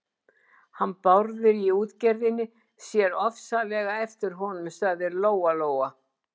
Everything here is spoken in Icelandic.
Hann Bárður í útgerðinni sér ofsalega eftir honum, sagði Lóa-Lóa.